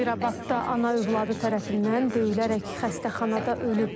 Sabirabadda ana övladı tərəfindən döyülərək xəstəxanada ölüb.